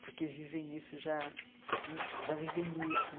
porque vivem isso já né já vivem isso.